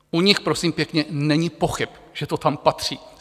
U nich prosím pěkně není pochyb, že to tam patří.